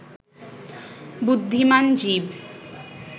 বুদ্ধিমান জীব